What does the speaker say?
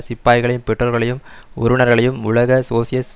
சிப்பாய்களின் பெற்றோர்களையும் உறவினர்களையும் உலக சோசியலிச